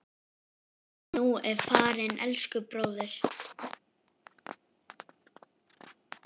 Nú ertu farinn, elsku bróðir.